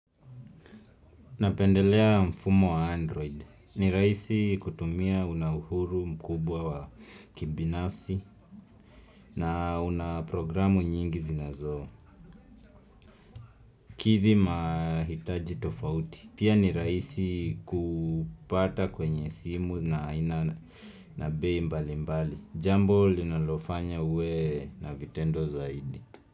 Napendelea mfumo wa android. Ni rahisi kutumia unauhuru mkubwa wa kibinafsi na unaprogramu nyingi zinazoo. Kithi mahitaji tofauti. Pia ni rahisi kupata kwenye simu na aina nabei mbali mbali. Jambo linalofanya uwe na vitendo zaidi.